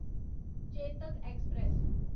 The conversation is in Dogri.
चेतक एक्सप्रेस